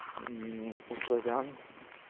у славян